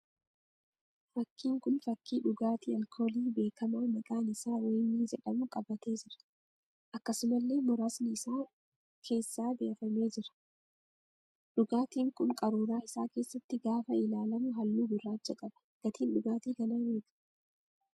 Fakkiin kun fakkii dhugaatii alkoolii beekamaa maqaan isaa Wayinii jedhamu qabatee jira. Akkasumallee muraasni isaa keessaa buufamee jira. dhugaatiin kun qaruuraa isaa keessatti gaafa ilaalamu halluu gurraacha qaba. Gatiin dhugaatii kanaa meeqa?